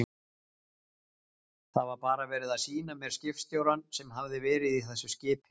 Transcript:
Það var bara verið að sýna mér skipstjórann sem hafði verið í þessu skipi.